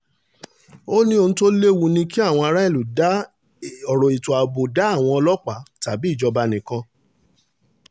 ó ní ohun tó léwu ni kí àwọn aráàlú dá ọ̀rọ̀ ètò ààbò dá àwọn ọlọ́pàá tàbí ìjọba nìkan